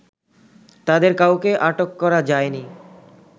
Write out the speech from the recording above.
তাদের কাউকে আটক করা যায়নি